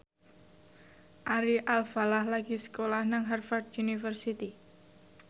Ari Alfalah lagi sekolah nang Harvard university